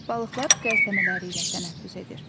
Balıqlar qəlsəmələri ilə tənəffüs edir.